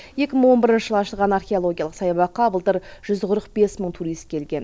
екі мың он бірінші жылы ашылған археологиялық саябаққа былтыр жүз қырық бес мың турист келген